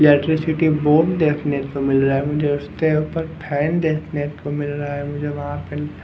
electricity board देखने को मिल रहा है मुझे उसते ऊपर फैन देखने को मिल रहा है मुझे वहाँ पे --